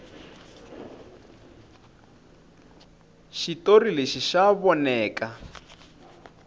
xitori lexi xa voneka